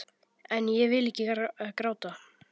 En ég vil ekki gráta.